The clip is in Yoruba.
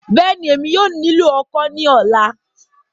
Bẹ́ẹ̀ni, Emi yóò nilo ọ́kọ ni ọla